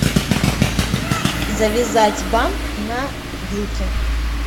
завязать бант на вилке